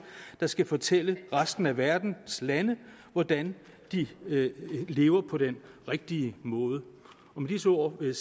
der skal fortælle resten af verdens lande hvordan de lever på den rigtige måde med disse ord vil